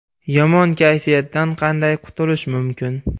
Yomon kayfiyatdan qanday qutulish mumkin?.